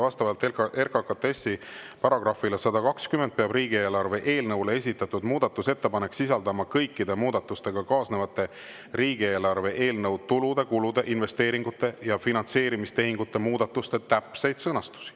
Vastavalt RKKTS-i § -le 120 peab riigieelarve eelnõule esitatud muudatusettepanek sisaldama kõikide muudatusega kaasnevate riigieelarve eelnõu tulude, kulude, investeeringute ja finantseerimistehingute muudatuste täpseid sõnastusi.